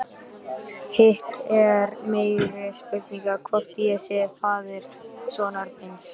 Hitt er meiri spurning hvort ég sé faðir sonar míns.